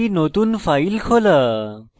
একটি নতুন file খোলা